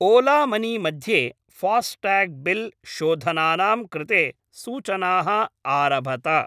Ola money मध्ये FASTag bill शोधनानां कृते सूचनाः आरभत।